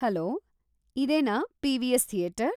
Hello, ಇದೇನಾ PVS. Theatre?